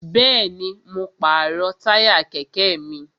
Bẹ́ẹ̀ni, mo pàrọ̀ táyà kẹ̀kẹ́ mi